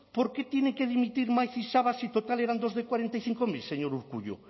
por qué tienen que dimitir maiz y sabas si total eran dos de cuarenta y cinco mil señor urkullu